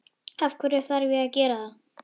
Af hverju þarf ég að gera það?